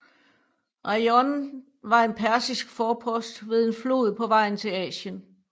Eion var en persisk forpost ved en flod på vejen til Asien